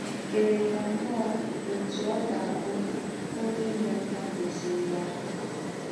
È kèrè yà nnọọ òtú ọ̀ gà - àbù̄ ǒnyé ínyéàkà kwesírí yà.